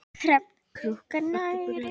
Hrafn krunkar nærri.